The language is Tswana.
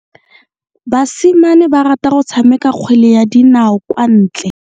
Basimane ba rata go tshameka kgwele ya dinao kwa ntle.